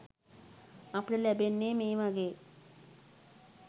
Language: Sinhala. අපට ලැබෙන්නේ මේ වගේ